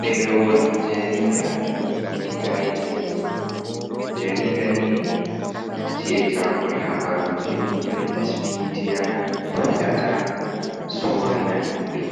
Ɗeerewol jarida, ɗi gaidiyans jarida ni ci’e chakol habaruuji ɗum pirint midiya fi’ata, sorrina himɓe,